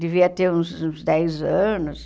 Devia ter uns uns dez anos.